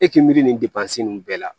E k'i miiri nin nunnu bɛɛ la